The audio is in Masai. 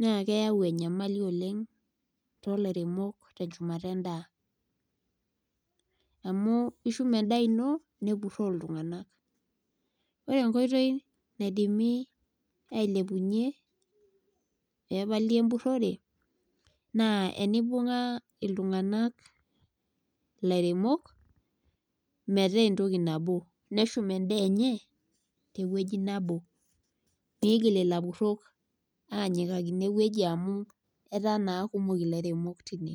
naa keyau enyamali oleng tolairemok tenchumata endaa amu ishum endaa ino nepuroo iltunganak . Ore enkoitoi naidimi ailepunyie pepali embuore naa enibunga iltunganak ,ilairemok metaa entoki nabo , neshum endaa enye tewueji nabo ,migil ilapurok ainyiakaki inewueji amu etaa naa kumok ilairemok tine.